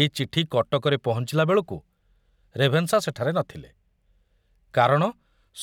ଏ ଚିଠି କଟକରେ ପହଞ୍ଚିଲା ବେଳକୁ ରେଭେନ୍ସା ସେଠାରେ ନ ଥିଲେ, କାରଣ